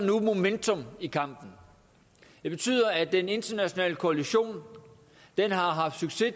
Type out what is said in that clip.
nu momentum i kampen det betyder at den internationale koalition har haft succes